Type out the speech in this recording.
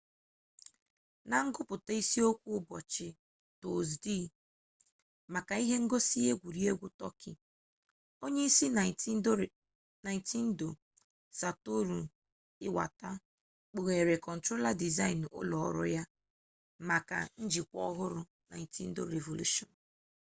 na nguputa isi okwu ubochi tozdee maka ihe ngosi egwuregwu tokyo onye isi nintendo satoru iwata kpughere controller design ulo oru ya maka njikwa ohuru nintendo revolution